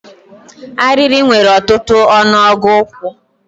Arịrị nwere ọtụtụ ọnụọgụ ụkwụ.